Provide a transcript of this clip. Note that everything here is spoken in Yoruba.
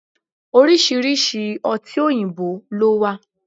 Oriṣiriṣi ọtí oyinbo ló wà